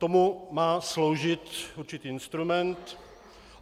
Tomu má sloužit určitý instrument.